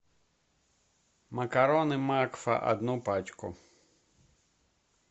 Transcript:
макароны макфа одну пачку